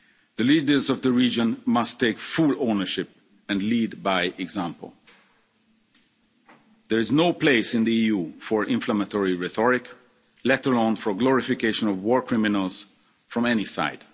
The leaders of the region must take full ownership and lead by example. There is no place in the EU for inflammatory rhetoric, let alone for the glorification of war criminals from any